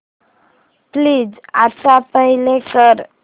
please आता play कर